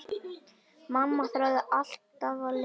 Mamma þráði alltaf að lifa.